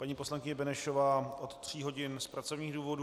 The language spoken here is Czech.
Paní poslankyně Benešová od tří hodin z pracovních důvodů.